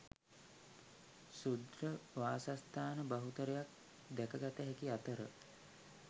ක්ෂුද්‍ර වාසස්ථාන බහුතරයක් දැකගත හැකි අතර